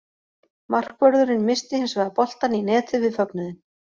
Markvörðurinn missti hins vegar boltann í netið við fögnuðinn.